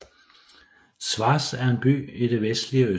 Schwaz er en by i det vestlige Østrig